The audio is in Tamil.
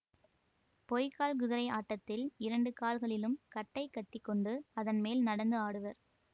பொய்க்கால் குதிரை ஆட்டத்தில் இரண்டு கால்களிலும் கட்டை கட்டி கொண்டு அதன்மேல் நடந்து ஆடுவர்